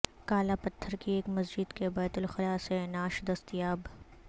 کالا پتھر کی ایک مسجد کے بیت الخلاء سے نعش دستیاب